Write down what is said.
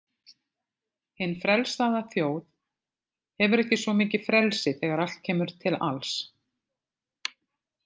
Hin „frelsaða“ þjóð hefur ekki svo mikið frelsi þegar allt kemur til alls.